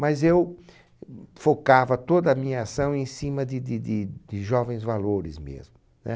Mas eu focava toda a minha ação em cima de de de de jovens valores mesmo. Né?